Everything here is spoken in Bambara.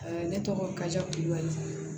ne tɔgɔ kaja kulibali